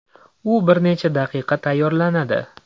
U bir necha daqiqada tayyorlanadi.